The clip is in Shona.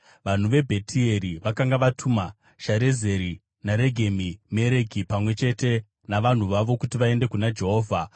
Vanhu veBhetieri vakanga vatuma Sharezeri naRegemi-Mereki, pamwe chete navanhu vavo, kuti vaende kuna Jehovha